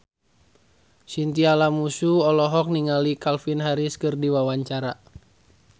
Chintya Lamusu olohok ningali Calvin Harris keur diwawancara